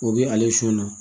O bi ale sɔn na